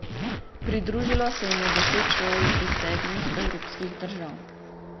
Pridružilo se jim je deset šol iz sedmih evropskih držav.